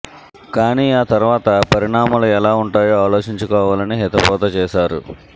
కానీ ఆ తర్వాత పరిణామాలు ఎలా ఉంటాయో ఆలోచించుకోవాలని హితబోధ చేశారు